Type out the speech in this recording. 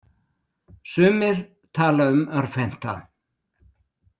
Sumir tala um örvhenta.